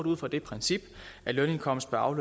ud fra det princip at lønindkomst bør